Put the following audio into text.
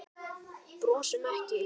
Brosum ekki.